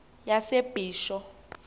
yasebisho